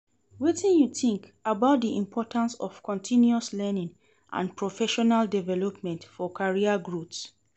Wetin you think about di importance of continuous learning and professional development for career growth?